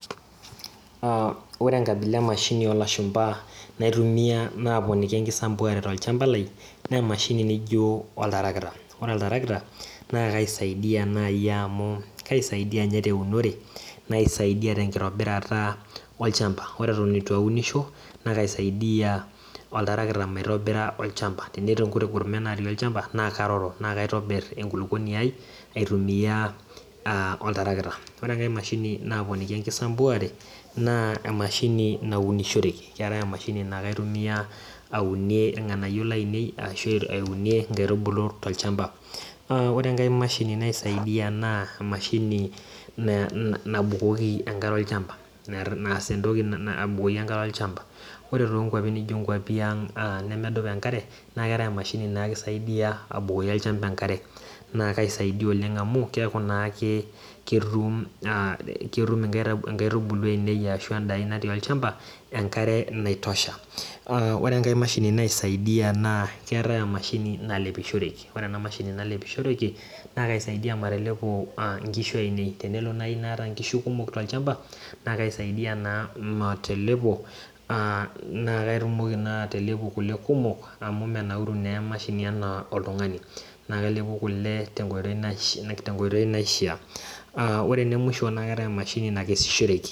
ore emashini naisaidia naa oltarakita amu kaisaidia naaji teunore naaisaidia teunore olchamba , naakaisaidia maitobira olchamba tenetii ninye inkutiti gurmen natii olchamba naakaroro naa kaitobir enkulukuoni ai atumia oltarakita, ore enkai mashini naaponiki enkisambuare naa emashini naunishoreki, naa kaitumiya aunie inkaitubulu tolchamba ,ore engae mashini naisaidia naa emashini nabukoki enkare olchamba, ore toonkwapi naaijo nkunaang' nemedupa enkare naa keetae emashi nikisaidia abukoki olchamba enkare, naa kaisaidia oleng' amu keeku ketum inkaitubulu ainei enkare aitobiraki, ore enkae mashini naisaidia naa emashini nalepishoreki, naa kaisaidia matelepo inkishu ainei tenelo naaji metaa kaata inkishu kumok tolchamba naa kaisaidia naaji matelepo naa katumoki naaji atelepu kule kumok, amu menaauru naa emashi enaa oltung'ani.